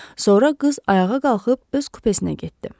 Sonra qız ayağa qalxıb öz kupesinə getdi.